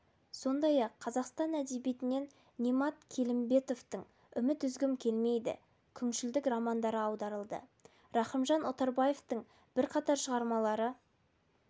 сондай-ақ қазақстан әдебиетінен немат келімбетовтің үміт үзгім келмейді күншілдік романдары аударылды рахымжан отарбаевтың бірқатар шығармалары